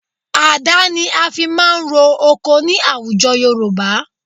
Àdá ni a fi máa ń ro oko ní àwùjọ Yorùbá